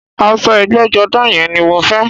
Aṣọ ẹgbẹ́jọdá yẹn ni mo fẹ́